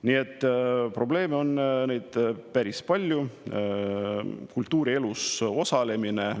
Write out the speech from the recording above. Nii et probleeme on päris palju, ka kultuurielus osalemisega.